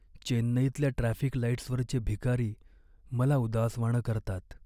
चेन्नईतल्या ट्रॅफिक लाईट्सवरचे भिकारी मला उदासवाणं करतात.